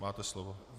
Máte slovo.